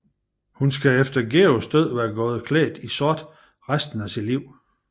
Hun skal efter Georges død være gået klædt i sort resten af sit liv